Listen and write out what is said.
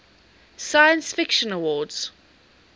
science fiction awards